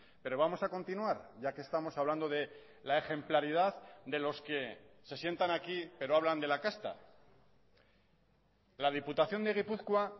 pero vamos a continuar ya que estamos hablando de la ejemplaridad de los que se sientan aquí pero hablan de la casta la diputación de gipuzkoa